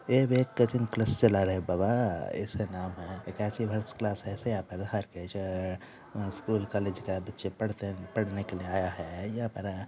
ये वे एक कोचिंग क्लास चला रहे है बाबा ऐसे नाम है वो स्कूल कॉलेज के बच्चे पढ़ते पढ़ने के लिए आया है यहां पर--